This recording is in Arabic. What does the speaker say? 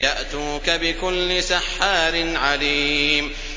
يَأْتُوكَ بِكُلِّ سَحَّارٍ عَلِيمٍ